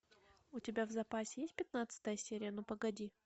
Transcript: у тебя в запасе есть пятнадцатая серия ну погоди